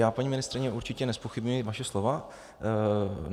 Já, paní ministryně, určitě nezpochybňuji vaše slova.